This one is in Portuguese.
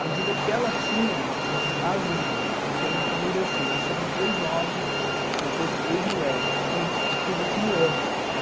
À medida que ela tinha as irmãs, porque a minha família é assim, nasceram três homens, depois três mulheres e, por último, eu.